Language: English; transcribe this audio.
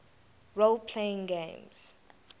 role playing games